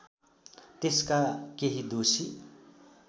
त्यसका केही दोषी